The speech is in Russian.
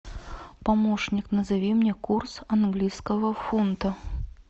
помощник назови мне курс английского фунта